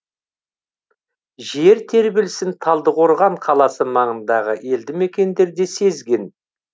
жер тербелісін талдықорған қаласы маңындағы елдімекендер де сезген